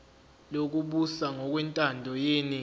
lokubusa ngokwentando yeningi